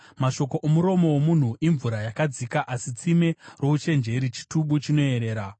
Mashoko omuromo womunhu imvura yakadzika, asi tsime rouchenjeri chitubu chinoyerera.